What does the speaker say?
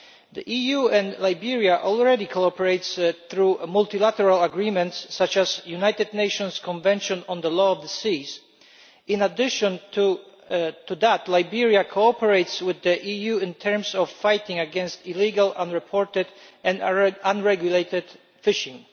The EU and Liberia already cooperate through multilateral agreements such as the United Nations Convention on the Law of the Sea. In addition to that, Liberia cooperates with the EU in terms of fighting against illegal, unreported and unregulated fishing.